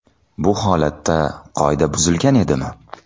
Bu holatda qoida buzilgan edimi?